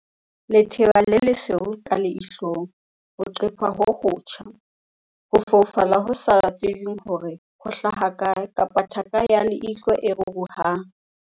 I - Letheba le lesweu ka leihlong, ho qepha ho hotjha, ho foufala ho sa tsejweng hore ho hlaha kae kapa thaka ya leihlo e ruruhang.